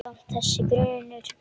Samt- þessi grunur.